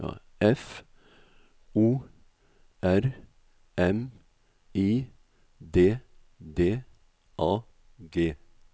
F O R M I D D A G